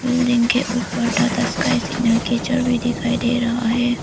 Building के ऊपर Tata Sky signal के दिखाई दे रहा है।